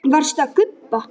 Varstu að gubba?